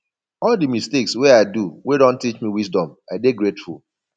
all di mistakes wey i do wey don teach me wisdom i dey grateful